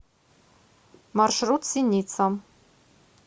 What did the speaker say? маршрут синица